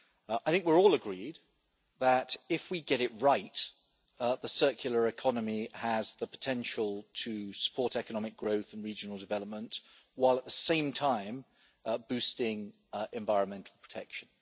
I think we're all agreed that, if we get it right, the circular economy has the potential to support economic growth and regional development, while at the same time boosting environmental protection.